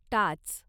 टाच